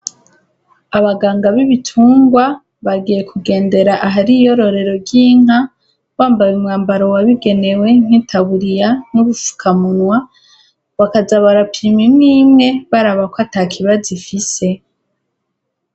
abaganga b'ibitungwa bagiye kugendera ahari iyororero ry'inka bambaye umwambaro wabigenewe nk'itaburiya n'ubufukamunwa bakajabarapimi imwe imwe baraba ko atakibazo ifise